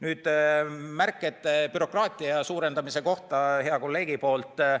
Nüüd hea kolleegi märkus, et me suurendame bürokraatiat.